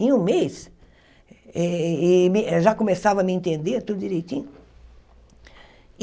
Em um mês, eh eh eh ela já começava a me entender tudo direitinho.